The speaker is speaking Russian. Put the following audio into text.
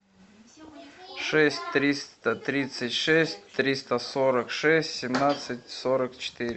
шесть триста тридцать шесть триста сорок шесть семнадцать сорок четыре